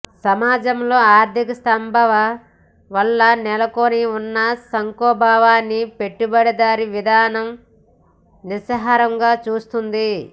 సమాజంలో ఆర్థిక స్తంభన వల్ల నెలకొని ఉన్న సంక్షోభాన్ని పెట్టుబడిదారీ విధానం నిస్సహాయంగా చూస్తోంది